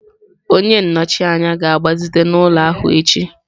Onye nnọchi anya ga-agbazite ụlọ ahụ echi.